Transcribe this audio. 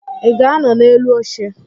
Ị ga-anọ n'elu oche?